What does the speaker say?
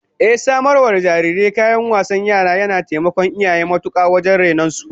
Ehh, samar wa da jariri kayan wasan yara yana taimakon iyaye matuka wajen rainon su